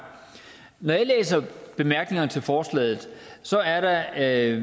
når jeg læser bemærkningerne til forslaget ser jeg at der er